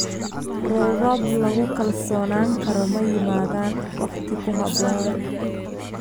Roobab lagu kalsoonaan karo ma yimaadaan waqti ku habboon.